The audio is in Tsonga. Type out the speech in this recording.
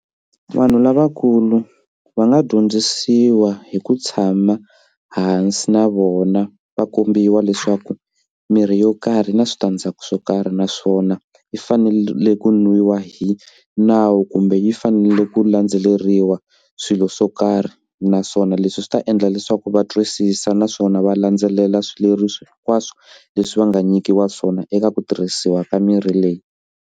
Vanhu lavakulu va nga dyondzisiwa hi ku tshama hansi na vona va kombiwa leswaku mirhi yo karhi yi na switandzhaku swo karhi naswona yi fanele ku nwiwa hi nawu kumbe yi fanele ku landzeleriwa swilo swo karhi naswona leswi swi ta endla leswaku va twisisa naswona va landzelela swileriso hinkwaswo leswi va nga nyikiwa swona eka ku tirhisiwa ka mirhi leyi.